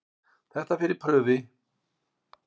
Þetta fer í prufi.